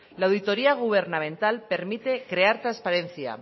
la auditoría gubernamental permite crear transparencia